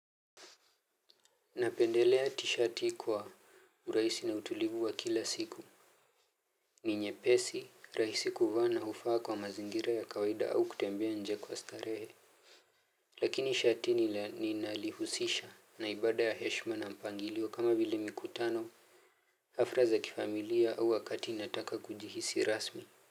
Napendelea tishati kwa urahisi na utulivu wa kila siku. Ni nyepesi, rahisi kuvaa na hufaa kwa mazingira ya kawaida au kutembea nje kwa starehe. Lakini shati ninalihusisha na ibada ya heshima na mpangilio kama vile mikutano. Hafla za kifamilia au wakati nataka kujihisi rasmi.